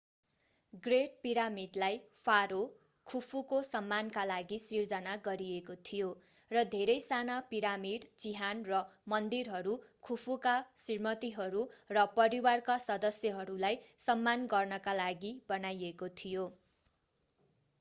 great पिरामिडलाई फारो खुफुको सम्मानका लागि सिर्जना गरिएको थियो र धेरै साना पिरामिड चिहान र मन्दिरहरू खुफुका श्रीमतीहरू र परिवारका सदस्यहरूलाई सम्मान गर्नका लागि बनाइएको थियो